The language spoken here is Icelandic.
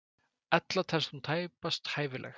Ella telst hún tæpast hæfileg.